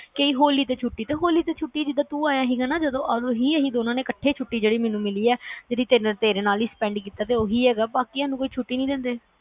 ਕਯੀ ਹੋਲੀ ਤੇ ਛੁਟੀ ਹੋਲੀ ਤੇ ਛੁਟੀ ਜਿਦਾ ਤੂੰ ਆਇਆ ਸੀਗਾ ਓਹੀ ਅਸੀਂ ਦੋਨਾਂ ਨੇ ਇਕੱਠੇ ਛੁਟੀ ਮੈਨੂੰ ਮਿਲੀ ਹੈ ਜਿਹੜੀ ਤੇਰੇ ਨਾਲ spend ਕੀਤੀ ਸੀ ਤੇ ਓਹੀ ਹੈਗਾ ਵ ਬਾਕੀਆਂ ਨੂੰ ਕੋਈ ਛੁੱਟੀ ਨੀ ਦਿੰਦੇ